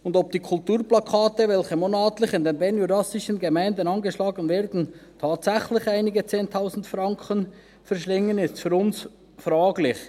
Und ob die Kulturplakate, die monatlich in den bernjurassischen Gemeinden angeschlagen werden, tatsächlich einige Zehntausend Franken verschlingen, ist für uns fraglich.